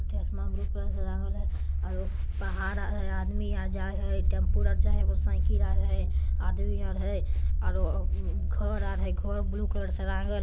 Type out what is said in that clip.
blue colour से रागल है और पहाड़ अ आदमी आजा है टेम्पू रख जाये वो साइकिल आ जा है आदमी अरह है अरो घर अरे घर ब्लू कलर से रंग--